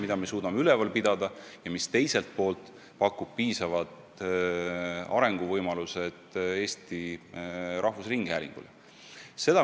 Et me suudame seda kompleksi üleval pidada ja teiselt poolt, see pakub piisavad arenguvõimalused Eesti Rahvusringhäälingule.